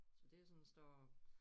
Så det sådan står